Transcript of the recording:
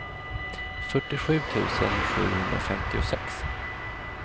fyrtiosju tusen sjuhundrafemtiosex